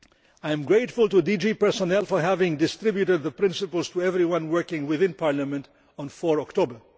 I am grateful to DG Personnel for having distributed the principles to everyone working within Parliament on 4 October.